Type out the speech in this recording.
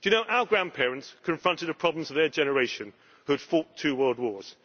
Our grandparents confronted the problems of their generation, who had fought two world wars.